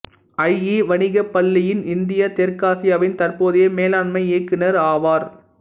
IE வணிகப் பள்ளியின் India தெற்காசியாவின் தற்போதைய மேலாண்மை இயக்குநர் ஆவார்